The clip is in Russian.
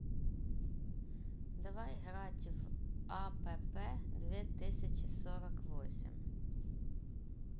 давай играть в апп две тысячи сорок восемь